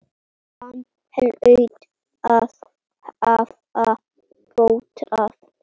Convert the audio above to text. Hann hlaut að hafa dottað.